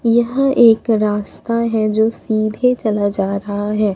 यह एक रास्ता है जो सीधे चला जा रहा है।